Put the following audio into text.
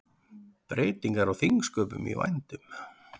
Breytingar á þingsköpum í vændum